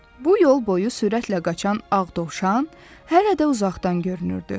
Bu yol boyu sürətlə qaçan ağ dovşan hələ də uzaqdan görünürdü.